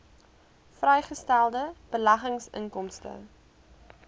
vrygestelde beleggingsinkomste